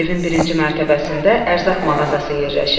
Evin birinci mərtəbəsində ərzaq mağazası yerləşir.